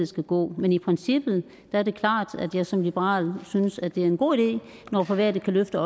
skal gå men i princippet er det klart at jeg som liberal synes det er en god idé når private kan løfte